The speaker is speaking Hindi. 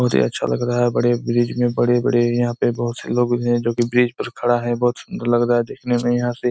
बहोत ही अच्छा लग रहा है बड़े ब्रिज में बड़े बड़े यहा पे बहुत से लोग भी है जोकि ब्रिज पर खड़े है बहुत सुंदर लग रहा है देखने में यहाँ से--